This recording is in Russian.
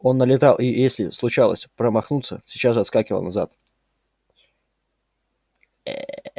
он налетал и если случалось промахнуться сейчас же отскакивал назад